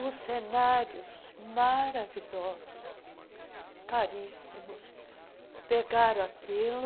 Os cenários, maravilhosos, caríssimos, pegaram aquilo